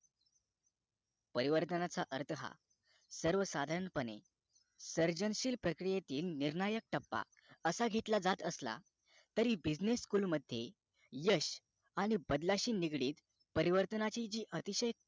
परिवर्तनाचा अर्थ हा सर्वसाधारणपने सर्जनशील प्रकियेतील निर्णायक टप्पा असा घेतला जात असला तरी business school मध्ये यश आणि बदलाशी निगडित परिवर्तनाची जी अतिशय